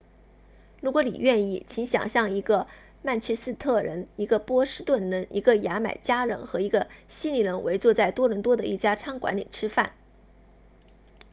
如果你愿意请想象一个曼彻斯特人一个波士顿人一个牙买加人和一个悉尼人围坐在多伦多的一家餐馆里吃饭